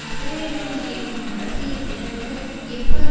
இஸ்ரேலுக்குள் இருக்கும் அரசியல் பிளவுகள் எவ்வாறு